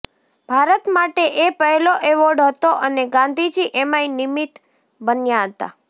ભારત માટે એ પહેલો એવોર્ડ હતો અને ગાંધીજી એમાંય નિમિત્ત બન્યા હતા